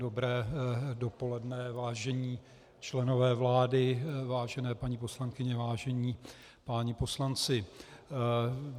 Dobré dopoledne, vážení členové vlády, vážené paní poslankyně, vážení páni poslanci.